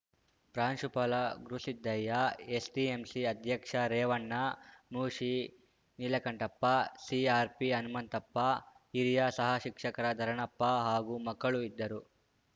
ಪ್ರಾಂಶುಪಾಲ ಗುರುಸಿದ್ದಯ್ಯ ಎಸ್‌ಡಿಎಂಸಿ ಅಧ್ಯಕ್ಷ ರೇವಣ್ಣ ಮುಶಿ ನೀಲಕಂಠಪ್ಪ ಸಿಆರ್‌ಪಿ ಹನುಮಂತಪ್ಪ ಹಿರಿಯ ಸಹ ಶಿಕ್ಷಕ ಧರಣಪ್ಪ ಹಾಗೂ ಮಕ್ಕಳು ಇದ್ದರು